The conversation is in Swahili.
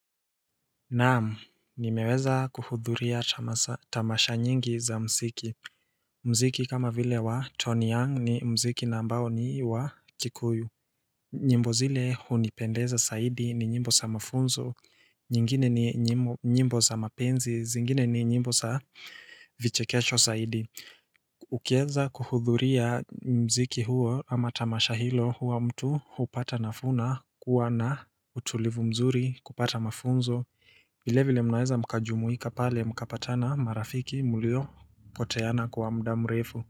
Naam, nimeweza kuhudhuria tamasha nyingi za mziki. Mziki kama vile wa Tony Young ni mziki na ambao ni wa Kikuyu. Nyimbo zile hunipendeza zaidi ni nyimbo za mafunzo. Nyingine ni nyimbo za mapenzi, zingine ni nyimbo za vichekesho zaidi. Ukianza kuhudhuria mziki huo ama tamasha hilo huwa mtu hupata nafuu na kuwa na utulivu mzuri kupata mafunzo. Vile vile mnaweza mkajumuika pale mkapatana marafiki mlio poteana kwa mda mrefu.